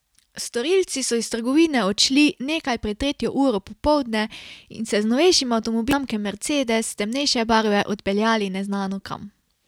Storilci so iz trgovine odšli nekaj pred tretjo uro popoldne in se z novejšim avtomobilom znamke mercedes temnejše barve odpeljali neznano kam.